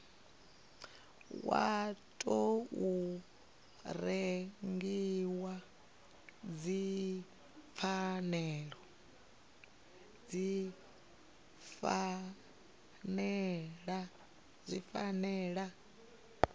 wa tou rengiwa dzi fanela